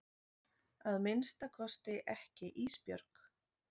Að minnsta kosti ekki Ísbjörg.